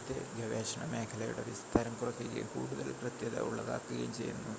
ഇത് ഗവേഷണ മേഖലയുടെ വിസ്താരം കുറക്കുകയും കൂടുതൽ കൃത്യത ഉള്ളതാക്കുകയും ചെയ്യുന്നു